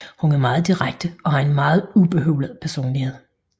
Hun er meget direkte og har en noget ubehøvlet personlighed